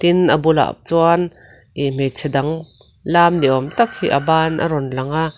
tin a bulah chuan ih hmeichhe dang lam niawm tak hi a ban a rawn lang a.